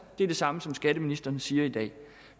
det samme som skatteministeren siger i dag